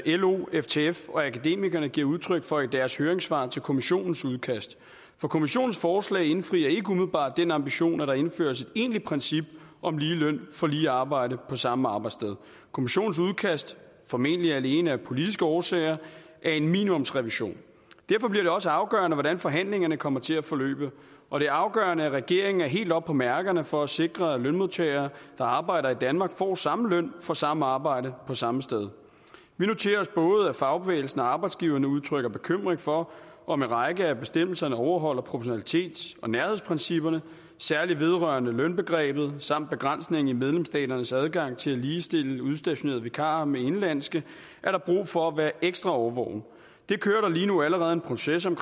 lo ftf og akademikerne giver udtryk for i deres høringssvar til kommissionens udkast for kommissionens forslag indfrier ikke umiddelbart den ambition at der indføres et egentligt princip om lige løn for lige arbejde på samme arbejdssted kommissionens udkast formentlig alene af politiske årsager er en minimumsrevision derfor bliver det også afgørende hvordan forhandlingerne kommer til at forløbe og det er afgørende at regeringen er helt oppe på mærkerne for at sikre at lønmodtagere der arbejder i danmark får samme løn for samme arbejde på samme sted vi noterer os at både fagbevægelsen og arbejdsgiverne udtrykker bekymring for om en række af bestemmelserne overholder proportionalitets og nærhedsprincipperne særlig vedrørende lønbegrebet samt begrænsning i medlemsstaternes adgang til at ligestille udstationerede vikarer med indenlandske er der brug for at være ekstra årvågen det kører der lige nu allerede en proces om